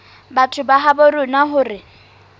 batho ba habo rona hore